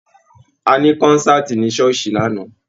Àní konsati ni ṣooṣi lanna.